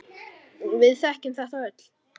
Við þekkjum þetta öll.